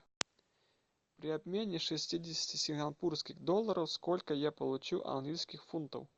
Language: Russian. при обмене шестидесяти сингапурских долларов сколько я получу английских фунтов